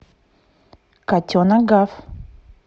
котенок гав